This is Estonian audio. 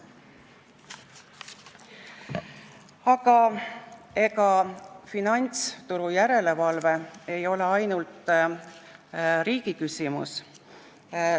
Aga ega finantsturujärelevalve ei ole ainult riigi küsimus.